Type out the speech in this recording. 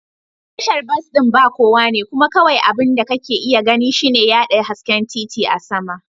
Tashar bas ɗin ba kowa ne kuma kawai abin da kake iya gani shine yaɗa hasken titi a sama.